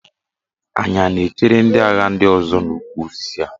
Anyị a na-echere ndị agha ndị ọzọ n'ukwu osisi a?